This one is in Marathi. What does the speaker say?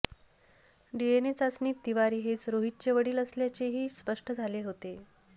डीएनए चाचणीत तिवारी हेच रोहीतचे वडील असल्याचेही स्पष्ट झाले होते